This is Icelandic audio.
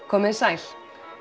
komiði sæl